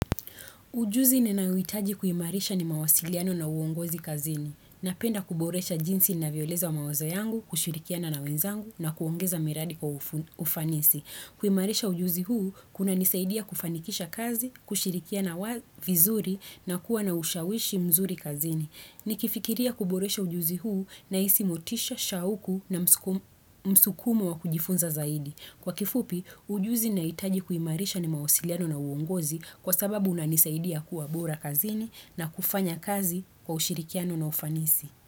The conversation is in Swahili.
Ujuzi ninayohitaji kuimarisha ni mawasiliano na uongozi kazini. Napenda kuboresha jinsi ninavyoeleza wa mawazo yangu, kushirikiana na wenzangu na kuongeza miradi kwa ufanisi. Kuimarisha ujuzi huu, kunanisaidia kufanikisha kazi, kushirikiana vizuri na kuwa na ushawishi mzuri kazini. Nikifikiria kuboresha ujuzi huu na hisi motisha, shauku na msukumo wa kujifunza zaidi. Kwa kifupi, ujuzi nahitaji kuimarisha ni mawasiliano na uongozi kwa sababu unanisaidia kuwa bora kazini na kufanya kazi kwa ushirikiano na ufanisi.